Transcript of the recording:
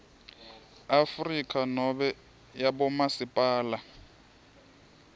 afrika nobe yabomasipala